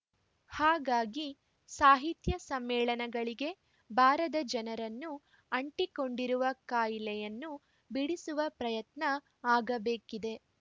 ಹಾಗಾಗಿ ಸಾಹಿತ್ಯ ಸಮ್ಮೇಳನಗಳಿಗೆ ಬಾರದ ಜನರನ್ನು ಅಂಟಿಕೊಂಡಿರುವ ಕಾಯಿಲೆಯನ್ನು ಬಿಡಿಸುವ ಪ್ರಯತ್ನ ಆಗಬೇಕಿದೆ